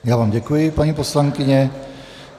Já vám děkuji, paní poslankyně.